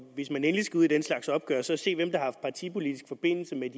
hvis man endelig skal ud i den slags opgør så se hvem der har haft partipolitisk forbindelse med